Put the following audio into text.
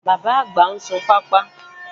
Bàbá-àgbà ń sun pápá